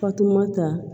Fatumata